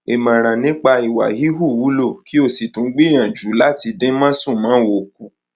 ìmọràn nípa ìwà híhù wúlò kí o sì tún gbìyànjú láti dín másùnmáwo kù